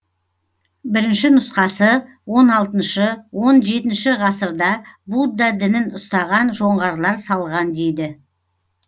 бірінші нұсқасы он алтыншы он жетінші ғасырда будда дінін ұстаған жоңғарлар салған дейді